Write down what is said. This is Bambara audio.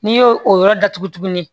N'i y'o o yɔrɔ datugu tuguni